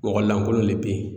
Mɔgɔ lankolon de bɛ yen